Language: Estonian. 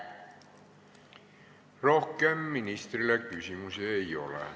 Rohkem ministrile küsimusi ei ole.